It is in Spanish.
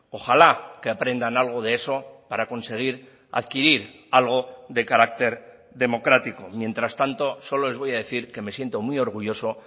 ojalá que aprendan algo de eso para conseguir adquirir algo de carácter democrático mientras tanto solo les voy a decir que me siento muy orgulloso